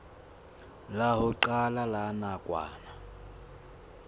la ho qala la nakwana